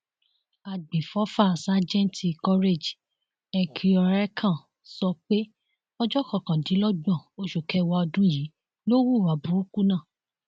àgbẹfọfà sájẹǹtì courage ekhieorekàn sọ pé ọjọ kọkàndínlọgbọn oṣù kẹwàá ọdún yìí ló hùwà búùkù náà